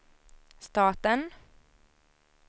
staten